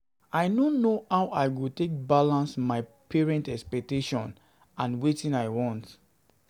I no know how I go balance my parents expectations and wetin I want.